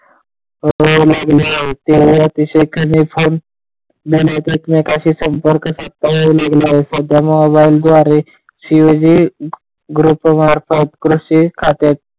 अतिशय कमी फोन आणि एकमेकांशी संपर्क करता येऊ लागलाय. सध्या मोबाईल द्वारे कृषी खात्यातील,